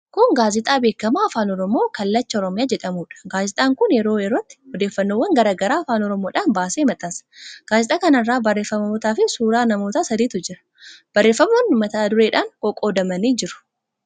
Kun gaazexaa beekamaa afaan Oromoo Kallacha Oromiyaa jedhamuudha. Gaazexaan kun yeroo yerootti odeeffannoowwan garaa garaa afaan Oromoodhaan baasee maxxansa. Gaazexaa kana irra barreeffamootaafi suuraa namoota sadiitu jira. Barreeffamoonni mata-dureedhaan qoqqoodamanii jiru.